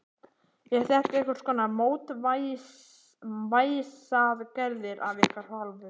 Eru þetta einhverskonar mótvægisaðgerðir af ykkar hálfu?